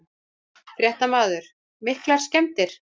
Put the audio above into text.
Fréttamaður: Miklar skemmdir?